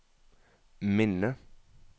minne